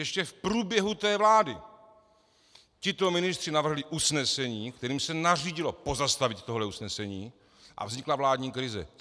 Ještě v průběhu té vlády tito ministři navrhli usnesení, kterým se nařídilo pozastavit tohle usnesení, a vznikla vládní krize.